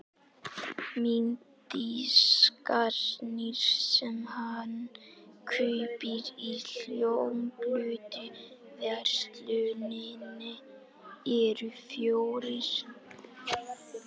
Mynddiskarnir sem hann kaupir í hljómplötuversluninni eru fjórir.